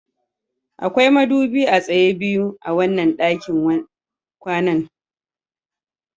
Akwai madubi a tsaye biyu a wannan ɗakin kwanan